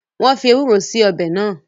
Wọn fii Ewúró síí ọbẹ̀ náà